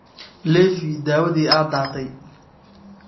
Leefi daawadii aad daatay.